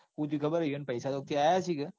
સુ થયું ખબર છ. એને પૈસા કયાંક થી આયા હસીન.